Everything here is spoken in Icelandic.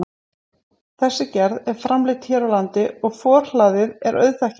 Þessi gerð er framleidd hér á landi og forhlaðið er auðþekkjanlegt.